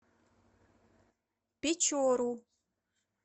печору